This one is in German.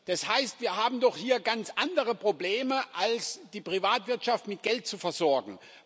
Das heißt, wir haben doch hier ganz andere Probleme, als die Privatwirtschaft mit Geld zu versorgen.